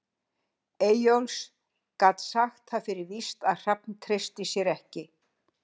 Eyjólfs, gat sagt það fyrir víst að Hrafn treysti sér ekki.